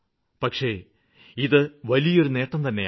പക്ഷേ ഇതു വലിയൊരു നേട്ടം തന്നെയാണ്